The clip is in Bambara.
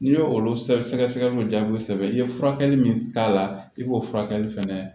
N'i y'olu sɛgɛsɛgɛliw jaabiw sɛbɛn i ye furakɛli min k'a la i b'o furakɛli fɛnɛ